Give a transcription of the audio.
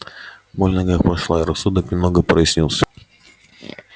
боль в ногах прошла и рассудок немного прояснился